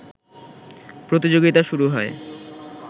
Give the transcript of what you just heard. প্রতিযোগিতা শুরু হয়